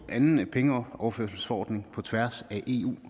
anden pengeoverførselsforordning på tværs af eu